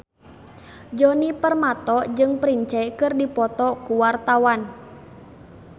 Djoni Permato jeung Prince keur dipoto ku wartawan